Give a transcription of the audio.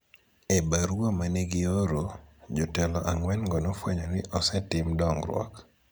E barua ma ne gioro, jotelo ang�wengo nofwenyo ni osetim dongruok